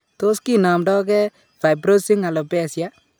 Tos kinomndo gee fibrosing alopecia ?